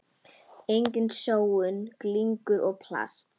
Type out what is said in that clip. Engin sóun, glingur og plast.